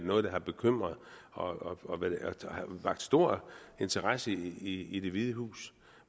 noget der har bekymret og har vakt stor interesse i det hvide hus